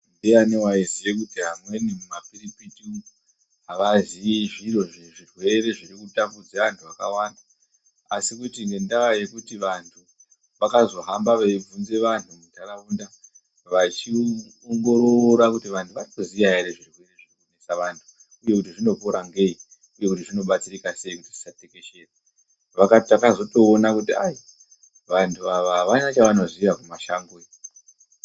Ndiyani waiziye kuti amweni mumapiripiti umu havaziyi zviro zvi.. zvirwere zviri kutambudze anhu akawanda asi kuti ngendaa yekuti vantu vakazohamba veivhunze vantu muntaraunda vechiongorora kuti vantu vari kuziya here zvirwere zvinorwarisa vantu uye kuti zvinopora sei uye kuti zvinodetsereka sei kuti zvisatekeshera? Vakati takatozoona kuti ayi, vanhu ava havana chavanoziya kumashango iyo.